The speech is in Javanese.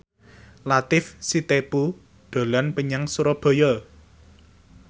Latief Sitepu dolan menyang Surabaya